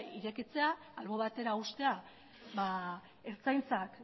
irekitzea albo batera uztea ertzaintzak